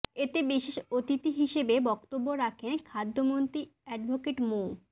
এতে বিশেষ অতিথি হিসেবে বক্তব্য রাখেন খাদ্যমন্ত্রী এডভোকেট মো